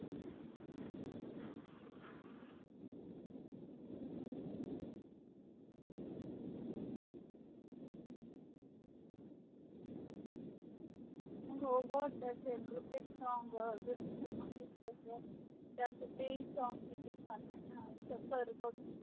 हो ग त्याचे क्रूतीक अं जस तू मनलीस तस ते ही song किती छान आहे. आज तक वर बघ.